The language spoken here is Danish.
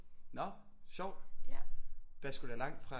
Nå sjovt der er sgu da langt fra